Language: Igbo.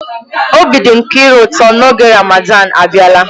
Obi dị Nkiru ụtọ na oge Ramadan abịala.